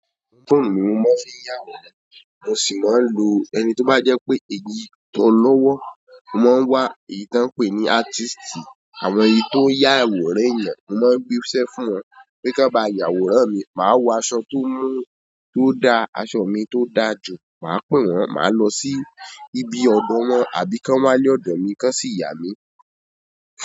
Fóònù mi mo máa ń fi ya àwòrán, mo sì máa ń lo ẹni tí ó bá jẹ́ pé èyí tó lọ́wọ́, mo máa ń wá èyí tí wọ́n ń pè ní ártísítì, àwọn èyí tó ń ya àwòrán ẹ̀yàn, mo máa ń gbéṣẹ́ fún wọn pé ká bá ya àwòrán mi, màá wọ aṣọ tó mú-- tó da, aṣọ mi tó da jù, màá pè wọ́n, màá lọ sí ibi ọ̀dọ̀ wọn àbí kan wá lé ọ̀dọ̀ mi kan sì yà mí.